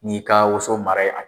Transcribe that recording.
N'i y'i ka woso mara yen